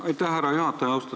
Aitäh, härra juhataja!